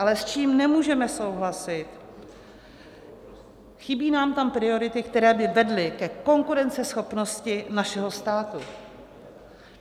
Ale s čím nemůžeme souhlasit, chybí nám tam priority, které by vedly ke konkurenceschopnosti našeho státu.